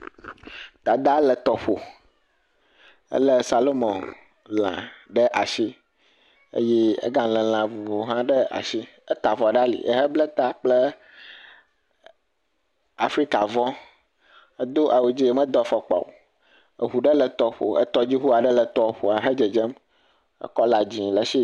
Dada le tɔƒo ele salumɔ lã ɖe asi eye ega le lã vovowo hã ɖe asi. Eta avɔ ɖe ali. Eble ta kple afrika vɔ. Edo awu dzi medo afɔkpa o. Eŋu ɖe le tɔƒoa etɔdziŋu ɖe le tɔƒo he dzedzem. Kɔla dzi le esi.